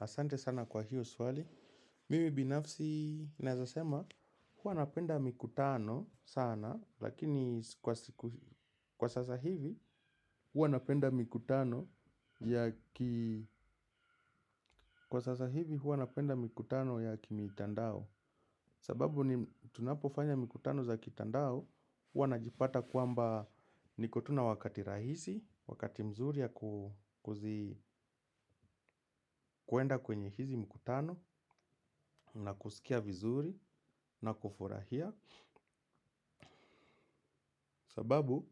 Asante sana kwa hiyo swali. Mimi binafsi naeza sema hua napenda mikutano sana lakini kwa sasa hivi hua napenda mikutano ya kimitandao. Sababu ni tunapofanya mikutano za kitandao huwa najipata kwamba niko tu nawakati rahisi, wakati mzuri ya kuenda kwenye hizi mikutano na kusikia vizuri na kufurahia. Sababu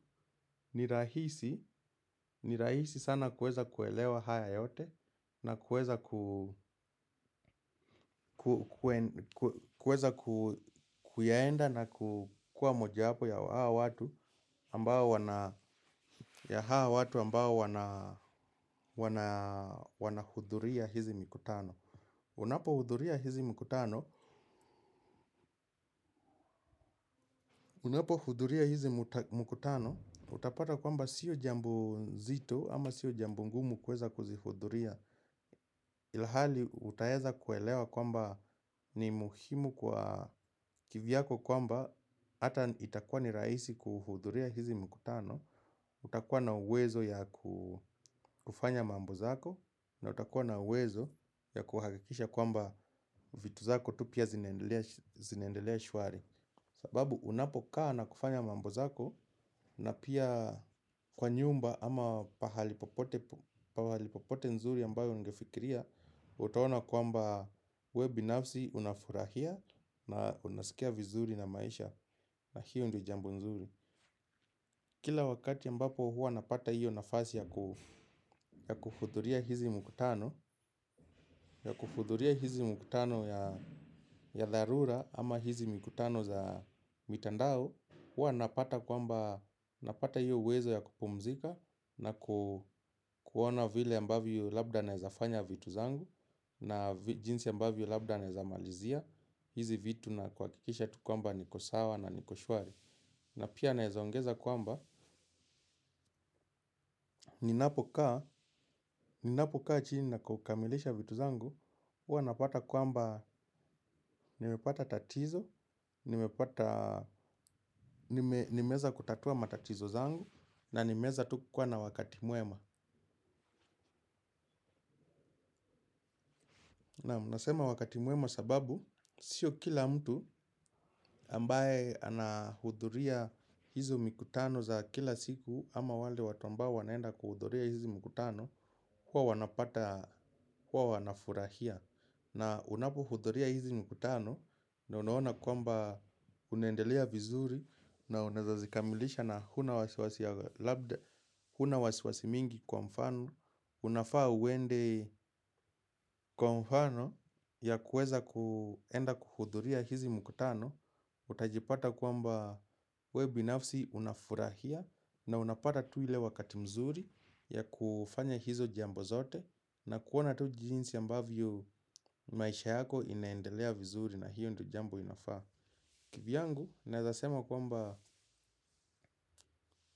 ni rahisi sana kueza kuelewa haya yote na kueza kueza kuyaenda na kukua moja yapo ya hawa watu ambao wanahuduria hizi mikutano. Unapohuduria hizi mkutano unapo huduria hizi mkutano utapata kwamba sio jambo zito ama sio jambo ngumu kueza kuzihuduria, ilihali utaheza kuelewa kwamba ni muhimu kwa kivyako kwamba ata itakuwa ni rahisi kuhuduria hizi mkutano, utakuwa na wezo ya kufanya mambo zako na utakuwa na uwezo ya kuhakikisha kwamba vitu zako tu pia zinaendelea shwari sababu unapokaa na kufanya mambo zako na pia kwa nyumba ama pahali popote p nzuri ambayo ungefikiria utaona kwamba we binafsi unafurahia na unasikia vizuri na maisha na hiyo ndio jambo nzuri kila wakati ambapo hua napata hiyo nafasi ya kuhuduria hizi mikutano ya kuhuduria hizi mikutano ya dharura ama hizi mikutano za mitandao hua napata kwamba napata hiyo uwezo ya kupumzika na kuona vile ambayo labda naezafanya vitu zangu na jinsi ambavyo labda naezamalizia hizi vitu na kwa kikisha tukuamba nikosawa na nikoshwari na pia naezongeza kwamba ninapokaa ninapokaa chini na kukamilisha vitu zangu huwanapata kwamba nimepata tatizo nimepata nimeweza kutatua matatizo zangu na nimeweza tu kuwa na wakati mwema na mnasema wakati mwema sababu sio kila mtu ambaye anahudhuria. Hizo mikutano za kila siku ama wale watu ambao wanaenda kuhuduria hizi mkutano huwa wanapata, huwa wanafurahia. Na unapohuduria hizi mkutano na unaona kwamba unaendelea vizuri. Na unaeza zikamilisha na huna wasiwasi mingi kwa mfano. Unafaa uende kwa mfano ya kueza kuenda kuhuduria hizi mkutano. Utajipata kwamba we binafsi unafurahia na unapata tu ile wakati mzuri ya kufanya hizo jambo zote. Na kuona tu jinsi ambavyo maisha yako inaendelea vizuri na hiyo ndio jambo inafaa kivyangu, naeza sema kwamba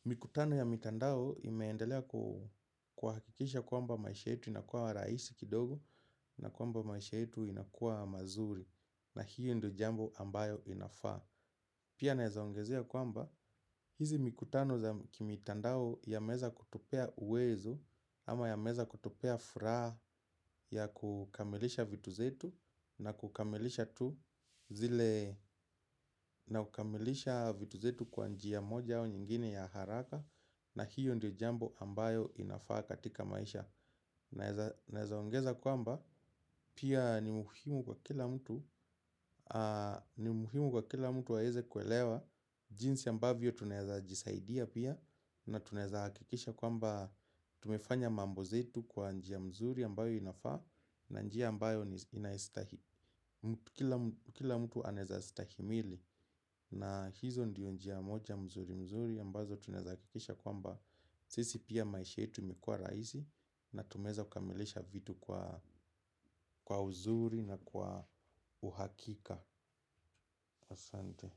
mikutano ya mitandao imeendelea kuhakikisha kwamba maisha yetu inakuwa rahisi kidogo. Na kwamba maisha yetu inakuwa mazuri na hiyo ndio jambo ambayo inafaa. Pia naeza ongezea kwamba hizi mikutano za kimitandao yameeza kutupea uwezo ama yameeza kutupea furaha ya kukamilisha vitu zetu na kukamilisha tu zile na kukamilisha vitu zetu kwanjia moja au nyingine ya haraka na hiyo ndio jambo ambayo inafaa katika maisha. Naeza ongeza kwamba pia ni muhimu kwa kila mtu aweze kuelewa jinsi ambavyo tunaeza jisaidia pia. Na tunaeza hakikisha kwamba tumefanya mambo zetu kwa njia mzuri ambayo inafaa na njia ambayo inaistahili. Kila mtu anaeza stahimili na hizo ndiyo njia moja mzuri mzuri ambazo tunaeza hakikisha kwamba sisi pia maisha yetu imekua rahisi. Na tumeweza kukamilisha vitu kwa uzuri na kwa uhakika. Asante.